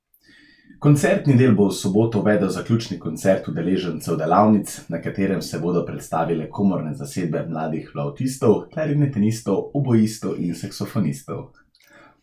Koncertni del bo v soboto uvedel zaključni koncert udeležencev delavnic, na katerem se bodo predstavile komorne zasedbe mladih flavtistov, klarinetistov, oboistov in saksofonistov.